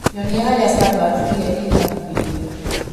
Nyonia harĩa Starbucks ĩrĩa ĩrĩ hakuhĩ ĩrĩ